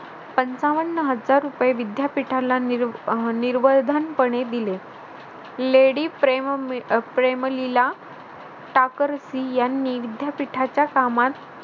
पंचावन्न हजार रुपये विद्यापीठाला निर्वळ अह निर्वळधनपणे दिले. लेडी प्रेम अह प्रेमलीला टाकरसी यांनी विद्यापीठाच्या कामात